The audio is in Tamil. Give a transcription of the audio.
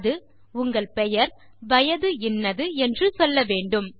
அது உங்கள் பெயர் வயது இன்னது என்று சொல்ல வேண்டும்